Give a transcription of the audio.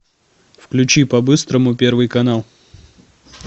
включи по быстрому первый канал